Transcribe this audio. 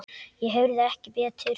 Ég heyrði ekki betur.